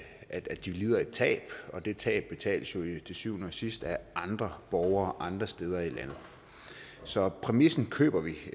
at de lider tab og det tab betales jo til syvende og sidst af andre borgere andre steder i landet så præmissen køber vi